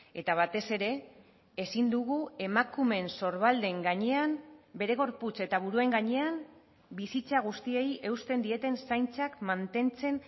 eta batez ere ezin dugu emakumeen sorbalden gainean bere gorputz eta buruen gainean bizitza guztiei eusten dieten zaintzak mantentzen